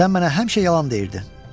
Sən mənə həmişə yalan deyirdi.